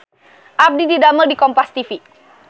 Abdi didamel di Kompas TV